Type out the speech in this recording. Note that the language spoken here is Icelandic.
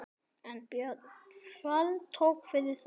en Björn þvertók fyrir það.